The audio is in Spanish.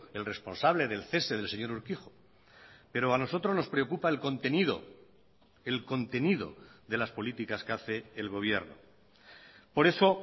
el responsable del cese del señor urkijo pero a nosotros nos preocupa el contenido el contenido de las políticas que hace el gobierno por eso